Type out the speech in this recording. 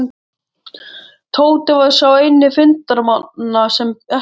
Tóti var sá eini fundarmanna sem ekki bjó í